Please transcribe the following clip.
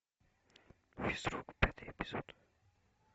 физрук пятый эпизод